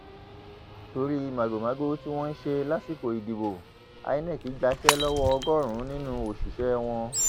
torí màgòmágó tí wọn ṣe lásìkò ìdìbò inec gbàṣẹ lọwọ ọgọrùnún nínú òṣìṣẹ wọn